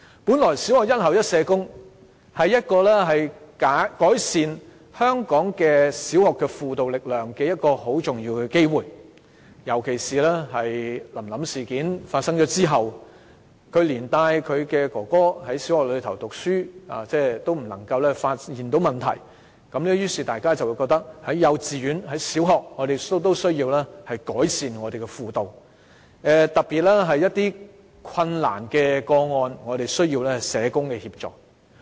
本來小學"一校一社工"是改善香港小學輔導力量的重要機會，尤其是在"臨臨事件"發生後，連帶揭發她的哥哥就讀的小學也沒有發現哥哥受虐的問題，於是大家便覺得幼稚園和小學也需要改善輔導服務，特別是一些困難個案需要社工協助。